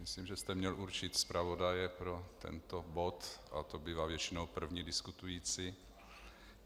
Myslím, že jste měl určit zpravodaje pro tento bod, a to bývá většinou první diskutující.